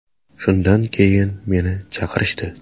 Shundan keyin meni chaqirishdi.